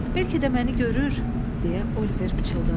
Bəlkə də məni görür, deyə Oliver pıçıldadı.